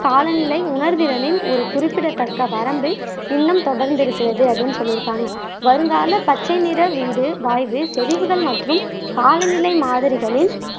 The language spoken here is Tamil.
காலநிலை உணர்திறனின் ஒரு குறிப்பிடத்தக்க வரம்பு இன்னும் தொடர்ந்து இருக்கிறது அப்படின்னு சொல்லியிருக்காங்க வருங்கால பச்சை நிற வீடு வாய்வு செறிவுகள் மற்றும் காலநிலை மாதிரிகளின்